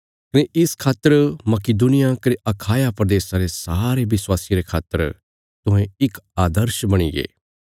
कने इस खातर मकिदुनिया कने अखाया प्रदेशा रे सारे विश्वासियां रे खातर तुहें इक आदर्श बणिगे